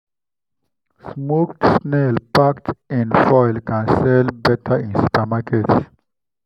smoked snail packed in foil can sell better in supermarkets.